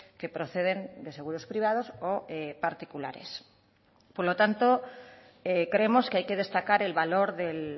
que proceden de seguros privados o particulares por lo tanto creemos que hay que destacar el valor del